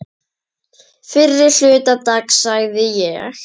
Fyrri hluta dags sagði ég.